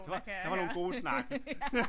Det var der var nogle gode snakke